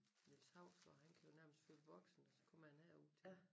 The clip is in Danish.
Niels Hausgaard han kan jo nærmest fylde Boxen og så kommer han herud til